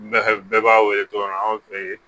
Bɛɛ b'a wele tɔgɔma anw fe yen